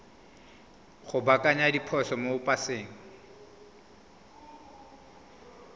go baakanya diphoso mo paseng